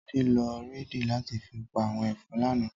Tade ló réidí làti fi pá áwòn efòn làná